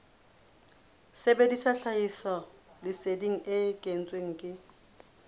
sebedisa tlhahisoleseding e kentsweng ke